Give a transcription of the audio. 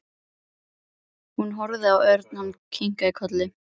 Hún horfði á Örn. Hann kinkaði kolli.